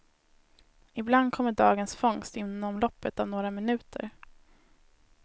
Ibland kommer dagens fångst inom loppet av några minuter.